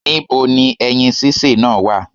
Ní bo ni ẹyin sísè náà wà?